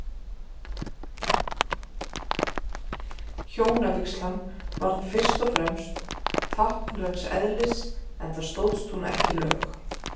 Hjónavígslan var þó fyrst og fremst táknræns eðlis, enda stóðst hún ekki lög.